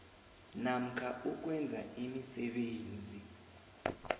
namkha ukwenza imisebenzi